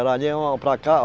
Era ali, para cá.